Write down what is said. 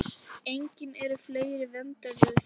Einnig eru fleiri vernduð svæði.